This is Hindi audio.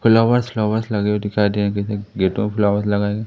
खुला हुआ फ्लावर्स लगे हुए दिखाई देंगे लेकिन गेटों ऑफ़ फ्लावर्स लगायेगे।